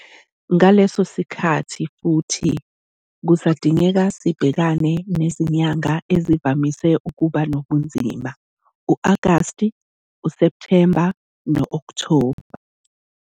Ngaleso sikhathi futhi kusadingeka sibhekane nezinyanga ezivamise ukuba nobunzima u-Agasti, uSepthemba no-Okthoba.